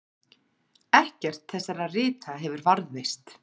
Ekkert þessara rita hefur varðveist.